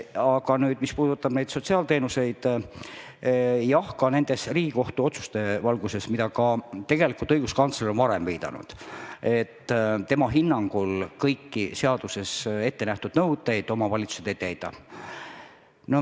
Aga mis puudutab sotsiaalteenuseid, siis jah, ka nende Riigikohtu otsuste valguses, millele õiguskantsler on varem viidanud, tema hinnangul kõiki seaduses ette nähtud nõudeid omavalitsused ei täida.